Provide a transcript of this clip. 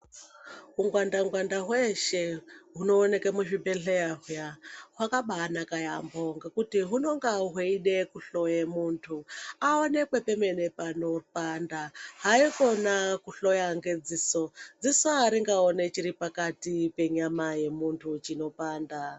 Ungwanda ngwanda hweeshe hunooneke muzvibhedhleya huya hwakabaanaka yaampho ngekuti hunonga hweide kuhloya muntu aonekwe pemene panopanda. Haikona kuhloya ngedziso dziso aringaoni chiri pakati penyama yemuntu dzinopanda.